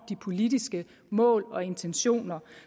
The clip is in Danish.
de politiske mål og intentioner